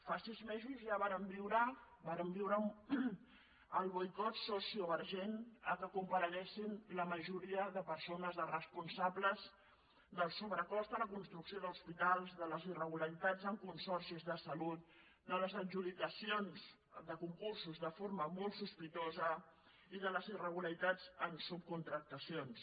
fa sis mesos ja vàrem viure el boicot sociovergent que compareguessin la majoria de persones de responsables del sobrecost en la construcció d’hospitals de les irregularitats en consorcis de salut de les adjudicacions de concursos de forma molt sospitosa i de les irregularitats en subcontractacions